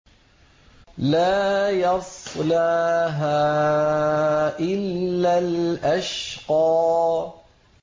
لَا يَصْلَاهَا إِلَّا الْأَشْقَى